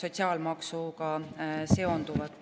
sotsiaalmaksuga seonduvat.